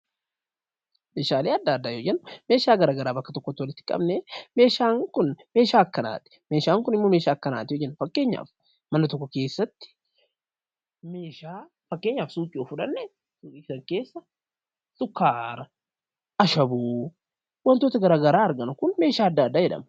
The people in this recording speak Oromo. Meeshaalee addaa addaa yeroo jennu, Meeshaalee bakka tokkotti walitti qabnee meeshaan Kun meeshaa akkanaati yoo jenne, fakkeenyaaf mana tokko keessatti, fakkeenyaaf suuqii yoo fudhanne, waantonni jiran sukkaara, ashaboo waantota garaagaraa argina. Kun meeshaa addaa addaa jedhama.